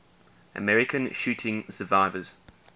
american shooting survivors